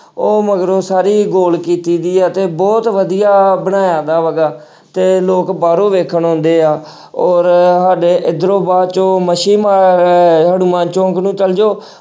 ਉਹ ਮਗਰੋਂ ਸਾਰੀ ਗੋਲ ਕੀਤੀ ਹੋਈ ਹੈ ਤੇ ਬਹੁਤ ਵਧੀਆ ਬਣਾਇਆ ਤੇ ਲੋਕ ਬਾਹਰੋਂ ਵੇਖਣ ਆਉਂਦੇ ਆ ਔਰ ਸਾਡੇ ਇੱਧਰੋਂ ਬਾਹ ਚੋਂ ਮੱਛੀ ਹਨੂੰਮਾਨ ਚੌਂਕ ਨੂੰ ਚੱਲ ਜਾਓ